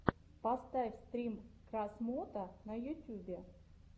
поставь стрим красмото на ютьюбе